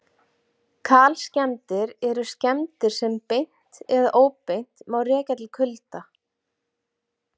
Kalskemmdir eru skemmdir sem beint eða óbeint má rekja til kulda.